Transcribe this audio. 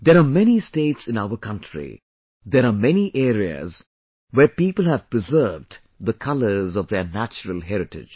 There are many states in our country ; there are many areas where people have preserved the colors of their natural heritage